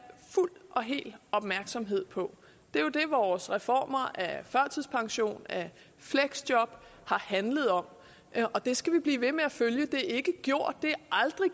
fuld og hel opmærksomhed på det er jo det vores reformer af førtidspension og af fleksjob har handlet om og det skal vi blive ved med at følge det er ikke